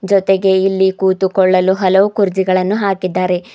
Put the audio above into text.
ಜೊತೆಗೆ ಇಲ್ಲಿ ಕುಳಿತುಕೊಳ್ಳಲು ಹಲವು ಕುರ್ಚಿಗಳನ್ನು ಹಾಕಿದ್ದಾರೆ.